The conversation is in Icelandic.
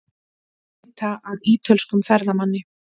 Leita að ítölskum ferðamanni